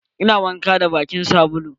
Ina wanka da bakin sabulu.